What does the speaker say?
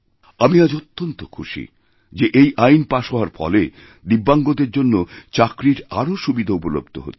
আমি আজ অত্যন্ত খুশি যে এই আইন পাশহওয়ার ফলে দিব্যাঙ্গদের জন্য চাকরির আরও সুবিধা উপলব্ধ হবে